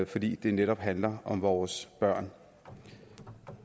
fordi det netop handler om vores børn